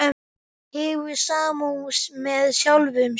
Hefur samúð með sjálfum sér.